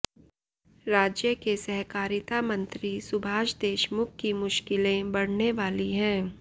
राज्य के सहकारिता मंत्री सुभाष देशमुख की मुश्किले बढ़ने वाली है